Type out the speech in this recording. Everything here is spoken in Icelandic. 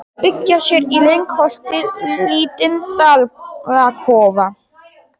Að byggja sér í lyngholti lítinn dalakofa.